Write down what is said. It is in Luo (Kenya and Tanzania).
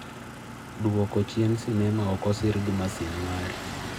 dwoko chien sinema ok osir gi masin mari